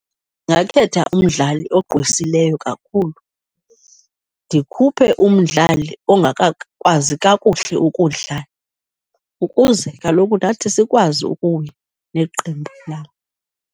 Ndingakhetha umdlali ogqwesileyo kakhulu ndikhuphe umdlali ongakakwazi kakuhle ukudlala ukuze kaloku nathi sikwazi ukuwina neqembu lam.